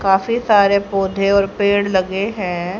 काफी सारे पौधे और पेड़ लगे हैं।